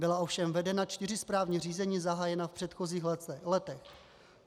Byla ovšem vedena čtyři správní řízení zahájená v předchozích letech.